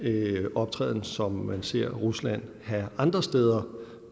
optræden som man ser rusland have andre steder